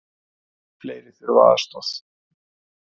Fleiri þurfa aðstoð